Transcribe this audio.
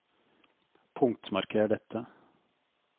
Punktmarker dette